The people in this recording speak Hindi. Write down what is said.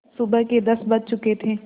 सुबह के दस बज चुके थे